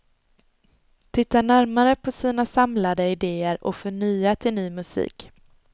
Titta närmare på sina samlade idéer och få nya till ny musik.